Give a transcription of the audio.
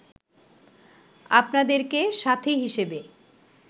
আপনাদেরকে সাথী হিসেবে